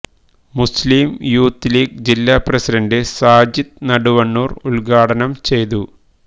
മുസ്ലിം youth league ജില്ല president Sajid Naduvannur ഉദ്ഘാടനം ചെയ്തു